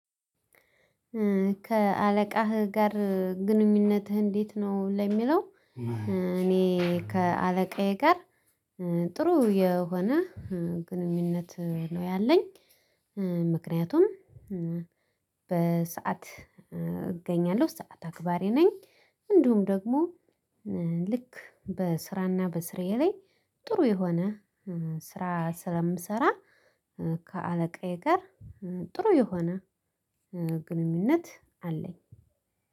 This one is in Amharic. ከአለቃህ ጋር ግንኙነትህ እንዴት ነው? ለሚለው እኔ ከአለቃዬ ጋር ጥሩ የሆነ ግንኙነት ነው ያለኝ። ምክንያቱም በሰአት እገኛለሁ ሰዓት አክባሪ ነኝ እንዲሁም ደግሞ ልክ በስራና በስራዬ ላይ ጥሩ የሆነ ስራ ስለምሰራ ከአለቃዬ ጋር ጥሩ የሆነ ግንኙነት አለኝ።